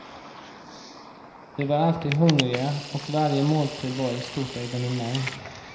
Vi var alltid hungriga och varje måltid var ett stort evenemang.